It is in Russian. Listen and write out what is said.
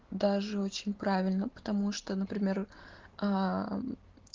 даже очень правильно потому что например аа